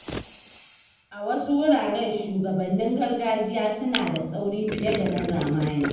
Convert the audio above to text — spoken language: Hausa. A wasu wuraren, shugabannin gargajiya suna da tsauri fiye da na zamani.